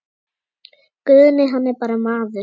Guðni hann er bara maður.